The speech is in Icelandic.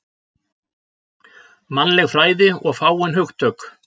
Mannleg fræði og fáein hugtök